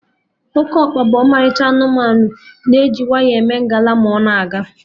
Okeokpa bụ ọmalịcha anụmanụ, na-eji nwayọ eme ngala ma ọ na-aga